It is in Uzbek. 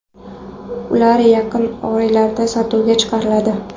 Ular yaqin oylarda sotuvga chiqariladi.